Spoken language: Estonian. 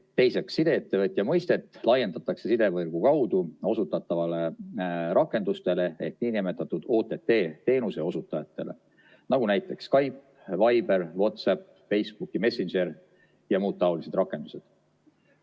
Teiseks, sideettevõtja mõistet laiendatakse sidevõrgu kaudu osutatavatele rakendustele ehk niinimetatud OTT-teenuse osutajatele, näiteks Skype, Viber, WhatsApp, Facebook Messenger ja muud taolised rakendused.